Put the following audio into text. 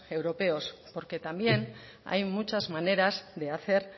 europeos porque también hay muchas maneras de hacer